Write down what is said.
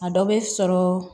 A dɔ bɛ sɔrɔ